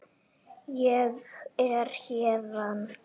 Ég er héðan